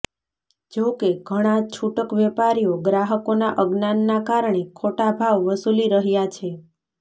જોકે ઘણા છૂટક વેપારીઓ ગ્રાહકોના અજ્ઞાનના કારણે ખોટા ભાવ વસૂલી રહ્યા છે